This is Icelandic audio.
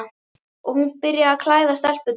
Og hún byrjaði að klæða stelpurnar.